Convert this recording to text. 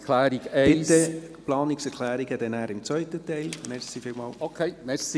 Die Planungserklärung 1 … Okay, danke.